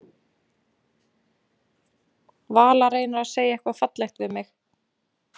Vala reynir að segja eitthvað fallegt við mig.